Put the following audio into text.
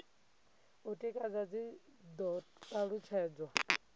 u tikedza dzi do talutshedzwa